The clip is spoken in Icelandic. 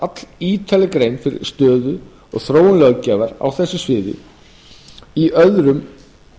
er gerð allítarleg grein fyrir stöðu og þróun löggjafar á þessu sviði í öðrum